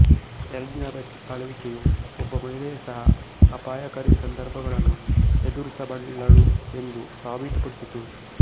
ಎಲಿಜಬೆತ್ನ ಆಳ್ವಿಕೆಯು ಒಬ್ಬ ಮಹಿಳೆ ಸಹ ಅಪಾಯಕಾರಿ ಸಂದರ್ಬಗಳನ್ನು ಎದುರಿಸಬಲ್ಲಳು ಎಂದು ಸಾಬಿತು ಪಡಿಸಿತು